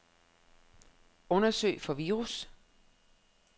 Undersøg for virus.